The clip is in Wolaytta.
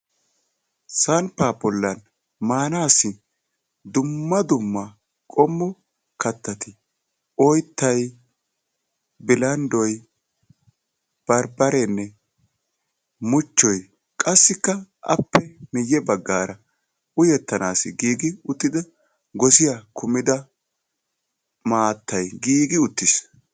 Samppaa bollan maanaassi dumma dumma qommo kattatti oyittay, bilanddoy, barbbarenne muchchoy qassikka appe miyye baggaara uyettanaasi giigi uttida gosiya kumida maattay giigi uttis.